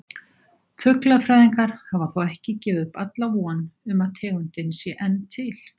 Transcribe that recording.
Fuglafræðingar hafa þó ekki gefið upp alla von um að tegundin sé enn til.